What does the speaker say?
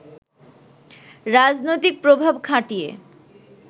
রাজনৈতিক প্রভাব খাটিয়ে